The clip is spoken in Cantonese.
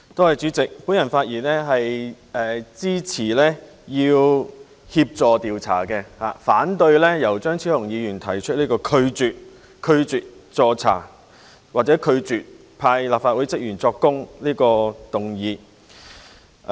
我發言支持協助調查，反對由張超雄議員提出拒絕助查或拒絕讓立法會職員出庭作供的議案。